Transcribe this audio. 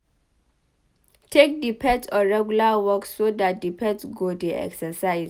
Take di pet on regular walks so dat di pet go dey exercise